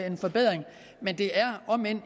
en forbedring omend det er